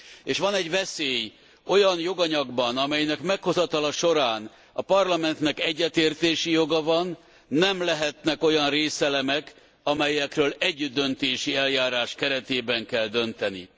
És van egy veszély olyan joganyagban, amelynek meghozatala során a Parlamentnek egyetértési joga van, nem lehetnek olyan részelemek, amelyekről együttdöntési eljárás keretében kell dönteni.